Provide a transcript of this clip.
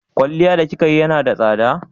Kwalliyar da kika yi na da tsada?